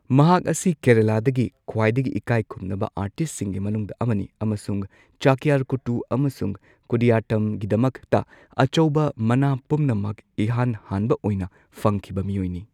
ꯃꯍꯥꯛ ꯑꯁꯤ ꯀꯦꯔꯂꯥꯗꯒꯤ ꯈ꯭ꯋꯥꯏꯗꯒꯤ ꯏꯀꯥꯢꯈꯨꯝꯅꯕ ꯑꯥꯔꯇꯤꯁꯠꯁꯤꯡꯒꯤ ꯃꯅꯨꯡꯗ ꯑꯃꯅꯤ ꯑꯃꯁꯨꯡ ꯆꯛꯌꯥꯔ ꯀꯨꯇꯨ ꯑꯃꯁꯨꯡ ꯀꯨꯗꯤꯌꯠꯇꯝꯒꯤꯗꯃꯛꯇ ꯑꯆꯧꯕ ꯃꯅꯥ ꯄꯨꯝꯅꯃꯛ ꯏꯍꯥꯟ ꯍꯥꯟꯕ ꯑꯣꯏꯅ ꯐꯪꯈꯤꯕ ꯃꯤꯑꯣꯏꯅꯤ꯫